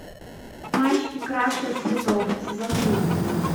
мальчики краше цветов сезон три